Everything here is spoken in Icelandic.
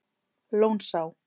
Lónsá